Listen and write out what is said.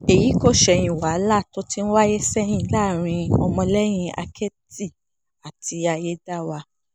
èyí kò ṣẹ̀yìn wàhálà tó ti ń wáyé sẹ́yìn láàrin ọmọlẹ́yìn àkẹ́tì àti ayédáiwa